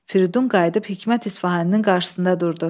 Firidun qayıdıb Hikmət İsfahaninin qarşısında durdu.